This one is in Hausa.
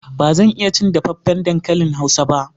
Ba zan iya cin dafaffen dankalin hausa ba.